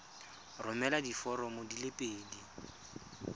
romela diforomo di le pedi